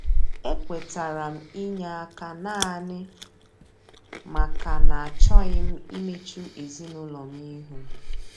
E kwetara m inye aka naanị maka na achọghị m imechu ezinụlọ m ihu.